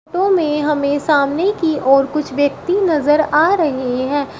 Photo में हमें सामने की ओर कुछ व्यक्ति नजर आ रहे हैं।